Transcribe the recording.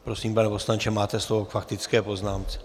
Prosím, pane poslanče, máte slovo k faktické poznámce.